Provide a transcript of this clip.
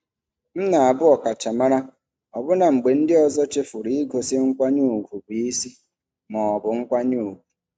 M na-abụ ọkachamara ọbụna mgbe ndị ọzọ chefuru igosi nkwanye ùgwù bụ isi ma ọ bụ nkwanye ùgwù.